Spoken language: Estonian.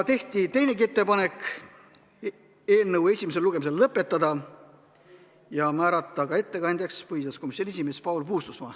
Tehti veel ettepanekuid: eelnõu esimene lugemine lõpetada ja määrata ettekandjaks põhiseaduskomisjoni esimees Paul Puustusmaa.